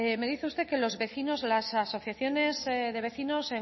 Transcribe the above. me dice usted que los vecinos las asociaciones de vecinos